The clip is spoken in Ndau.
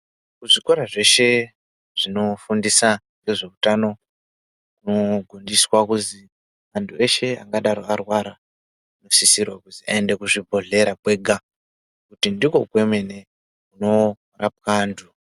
Zvikora zveshe zvinofundisa ngezveutano kunofundiswa kuzi anhu eshe angadaro arwara unosisirwe kuzi aende kuzvibhedhleya kwega kuti ndikwo kwemene kunorapwa antu.